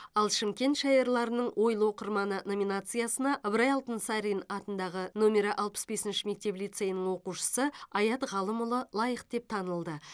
ал шымкент шайырларының ойлы оқырманы номинациясына ыбырай алтынсарин атындағы нөмері алпыс бесінші мектеп лицейінің оқушысы аят ғалымұлы лайық деп танылды